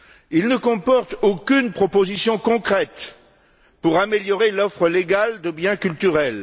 Il ne comporte aucune proposition concrète pour améliorer l'offre légale de biens culturels.